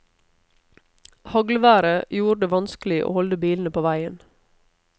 Haglværet gjorde det vanskelig å holde bilene på veien.